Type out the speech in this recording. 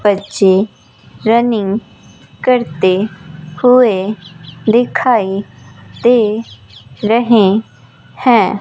बच्चे रनिंग करते हुए दिखाई दे रहें हैं।